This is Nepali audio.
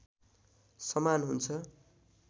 समान हुन्छ